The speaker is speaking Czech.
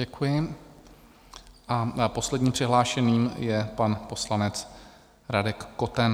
Děkuji a posledním přihlášeným je pan poslanec Radek Koten.